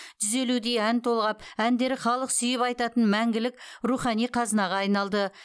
жүз елудей ән толғап әндері халық сүйіп айтатын мәңгілік рухани қазынаға айналды